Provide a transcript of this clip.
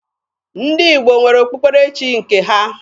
Ndị Igbo nwere okpukperechi nke ha.